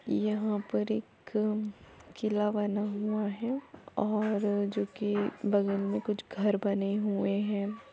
यँहा पर एक किला बना हुआ है और जो कि बगल में कुछ घर बने हुए हैं ।